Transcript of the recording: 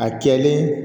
A kɛlen